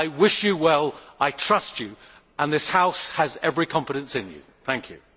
I wish you well, I trust you and this House has every confidence in you.